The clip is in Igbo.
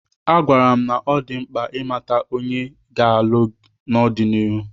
Agwara m na ọ dị mkpa ịmata onye ọ ga-alụ n'ọdịnihu.